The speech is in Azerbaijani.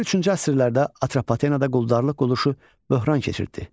İkinci-üçüncü əsrlərdə Atropatenada quldarlıq quruluşu böhran keçirtdi.